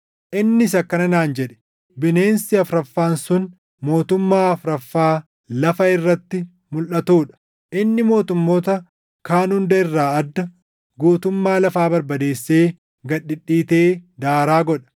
“Innis akkana naan jedhe: ‘Bineensi afuraffaan sun mootummaa afuraffaa lafa irratti mulʼatuu dha. Inni mootummoota kaan hunda irraa adda; guutummaa lafaa barbadeessee gad dhidhiitee daaraa godha.